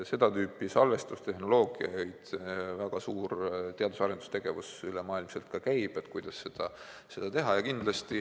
Seda tüüpi salvestustehnoloogiate suhtes väga suur teadus- ja arendustegevus ülemaailmselt ka käib, kuidas seda teha.